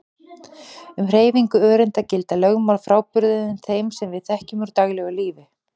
Um hreyfingu öreinda gilda lögmál frábrugðin þeim sem við þekkjum úr daglegu lífi.